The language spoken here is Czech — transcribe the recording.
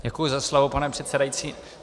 Děkuji za slovo, pane předsedající.